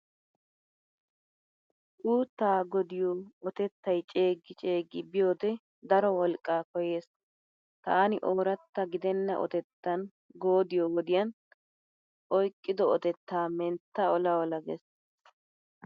Uuttaa goodiyo otettay ceeggi ceeggi biyoodee daro wolqqaa koyyees. Taani ooratta gidenna otettan goodiyoo wodiyan oyqido otettaa mentta ola ola gees.